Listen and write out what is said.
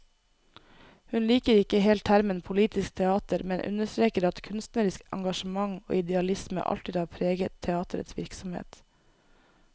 Hun liker ikke helt termen politisk teater, men understreker at kunstnerisk engasjement og idealisme alltid har preget teaterets virksomhet.